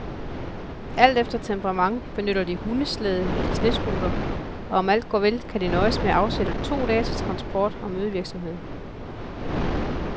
Alt efter temperament benytter de hundeslæde eller snescooter, og om alt går vel, kan de nøjes med at afsætte to dage til transport og mødevirksomhed.